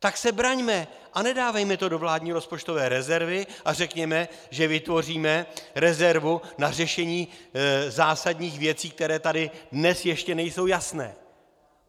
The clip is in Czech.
Tak se braňme a nedávejme to do vládní rozpočtové rezervy a řekněme, že vytvoříme rezervu na řešení zásadních věcí, které tady dnes ještě nejsou jasné.